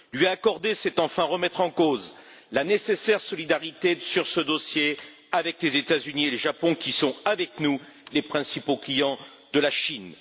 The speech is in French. Lui accorder ce statut, c'est enfin remettre en cause la nécessaire solidarité sur ce dossier avec les États Unis et le Japon qui sont avec nous les principaux clients de la Chine.